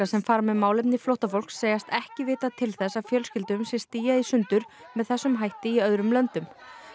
sem fara með málefni flóttafólks segjast ekki vita til þess að fjölskyldum sé stíað í sundur með þessum hætti í öðrum löndum